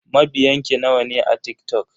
Mabiyan ki nawa ne a TikTok?